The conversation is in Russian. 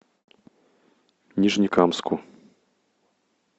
нижнекамску